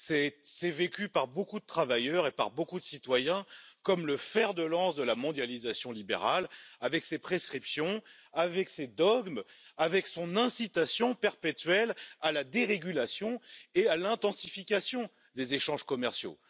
Il est vécu par beaucoup de travailleurs et de citoyens comme le fer de lance de la mondialisation libérale, avec ses prescriptions, ses dogmes et son incitation perpétuelle à la dérégulation et à l'intensification des échanges commerciaux.